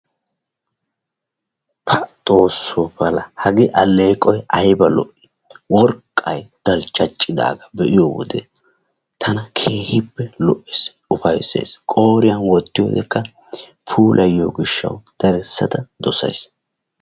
Pa xoosso pala! Hagee alleeqoy ayiba lo"ii! Worqqay dalccaccidaaga be"iyo wode tana keehippe lo"es, ufayises. Qooriyan wottiyoodekka puulayiyoo gishshaw darissada dosayis.